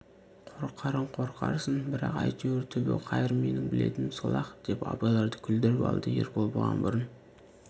қорқарын қорқарсын бірақ әйтеуір түбі қайыр менің білетінім сол-ақ деп абайларды күлдіріп алды ербол бұған бұрын